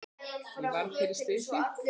Ég varð fyrir slysi